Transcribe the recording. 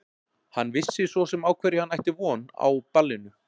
Hann vissi svo sem á hverju hann ætti von á ballinu.